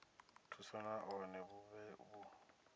thuso nahone vhu vhe vhu